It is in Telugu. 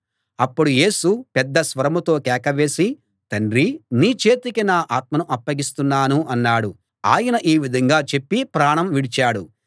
అప్పుడు యేసు పెద్ద స్వరంతో కేకవేసి తండ్రీ నీ చేతికి నా ఆత్మను అప్పగిస్తున్నాను అన్నాడు ఆయన ఈ విధంగా చెప్పి ప్రాణం విడిచాడు